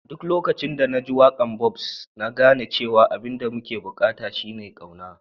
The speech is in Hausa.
Duk lokacin da na ji waka'n Bob'S, na gane cewa abin da muke bukata shine kauna.